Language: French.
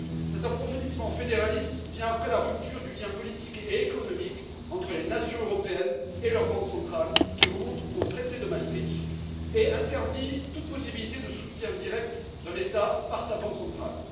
Cet approfondissement fédéraliste vient après la rupture du lien politique et économique entre les nations européennes et leurs banques centrales, qui remonte au traité de Maastricht, et interdit toute possibilité de soutien direct d'un État par sa banque centrale.